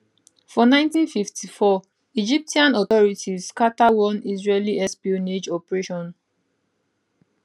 for 1954 egyptian authorities scata one israeli espionage operation